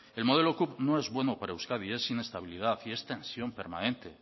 el modelo cup no es bueno para euskadi es inestabilidad y es tensión permanente